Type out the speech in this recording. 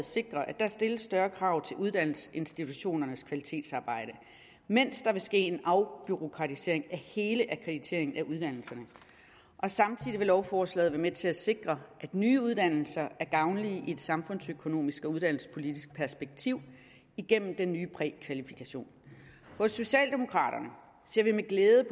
sikre at der stilles større krav til uddannelsesinstitutionernes kvalitetsarbejde mens der vil ske en afbureaukratisering af hele akkrediteringen af uddannelserne samtidig vil lovforslaget være med til at sikre at nye uddannelser er gavnlige i et samfundsøkonomisk og uddannelsespolitisk perspektiv igennem den nye prækvalifikation hos socialdemokraterne ser vi med glæde